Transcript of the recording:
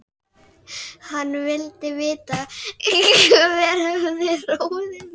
Hann vildi vita hver hefði ráðið mig.